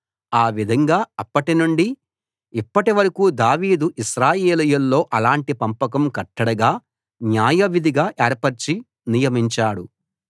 ఆ విధంగా అప్పటి నుండి ఇప్పటి వరకూ దావీదు ఇశ్రాయేలీయుల్లో అలాటి పంపకం కట్టడగా న్యాయవిధిగా ఏర్పరచి నియమించాడు